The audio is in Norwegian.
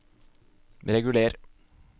reguler